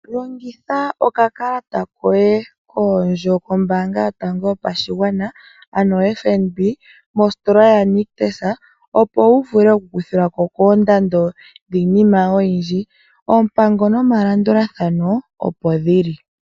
Longitha okakalata koye koondjo kombaanga yotango yopashigwana ano FNB,mositola yoNictus opo wu vule oku kuthilwako koondando dhiinima oyindji. Oompango nomalandulathano opo dhi li.